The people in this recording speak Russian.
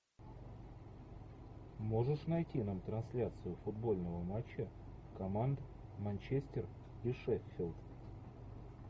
можешь найти нам трансляцию футбольного матча команд манчестер и шеффилд